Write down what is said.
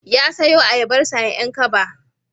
Ya sayo ayabarsa a 'Yan kaba